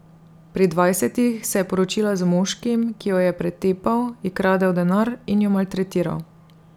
Pri dvajsetih se je poročila z moškim, ki jo je pretepal, ji kradel denar in jo maltretiral.